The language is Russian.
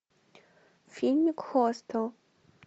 фильмик хостел